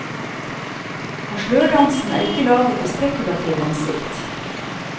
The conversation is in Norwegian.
Og slørdansen er ikke laget i spekulativ hensikt.